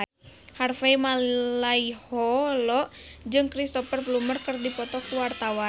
Harvey Malaiholo jeung Cristhoper Plumer keur dipoto ku wartawan